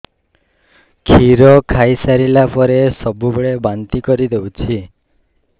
କ୍ଷୀର ଖାଇସାରିଲା ପରେ ସବୁବେଳେ ବାନ୍ତି କରିଦେଉଛି